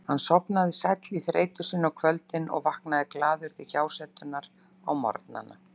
Hann sofnaði sæll í þreytu sinni á kvöldin og vaknaði glaður til hjásetunnar á morgnana.